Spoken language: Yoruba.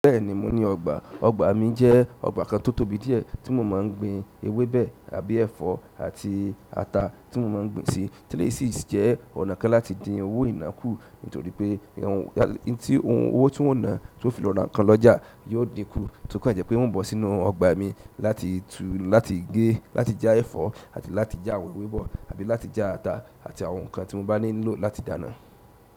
Bẹ́ẹ̀ni mo ní ọgbà, ọgbà mi jẹ́ ọgbà kan tó tóbi díẹ̀ tí mo máa ń gbin ewébẹ̀ àbí ẹ̀fọ́ àti ata tí mo máa ń gbin sí. Tilési jẹ́ ọ̀nà kan láti dín owó ìnákú nítorí pé ohun owó tí ò ń ná tí ó fi lọ̀rà kan lọ́jà yóò dínkù, tokan jẹ́ pé wò ń bọ̀ sínú ọgbà mi láti tú láti gé láti já ẹ̀fọ́ àti láti já àwọn ewébẹ̀ àbí láti já ata àti àwọn nǹkan tí mo bá nílò láti dáná.